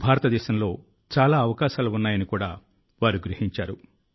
భారతదేశంలో చాలా అవకాశాలు ఉన్నాయని కూడా వారు గ్రహించారు